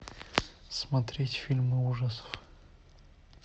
смотреть фильмы ужасов